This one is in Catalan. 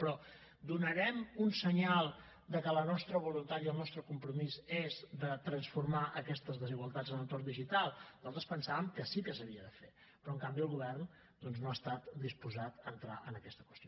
però donarem un senyal de que la nostra voluntat i el nostre compromís és de transformar aquestes desigualtats en l’entorn digital nosaltres pensàvem que sí que s’havia de fer però en canvi el govern doncs no ha estat disposat a entrar en aquesta qüestió